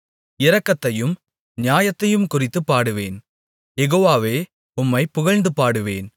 இரக்கத்தையும் நியாயத்தையும் குறித்துப் பாடுவேன் யெகோவாவே உம்மை புகழ்ந்துபாடுவேன்